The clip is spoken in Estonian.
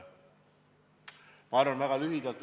Ma vastan väga lühidalt.